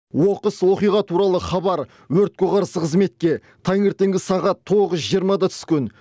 оқыс оқиға туралы хабар өртке қарсы қызметке таңертеңгі сағат тоғыз жиырмада түскен